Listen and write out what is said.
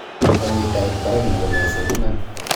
Momii tait barak nebo meset iman.